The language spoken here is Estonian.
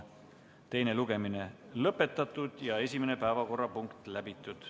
Teine lugemine ongi lõpetatud ja esimene päevakorrapunkt läbitud.